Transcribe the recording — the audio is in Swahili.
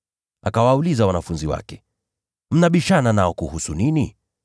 Akawauliza wanafunzi wake, “Mnabishana nao kuhusu nini?”